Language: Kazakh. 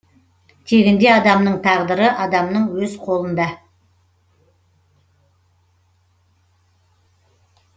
тегінде адамның тағдыры адамның өз қолында